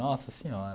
Nossa Senhora!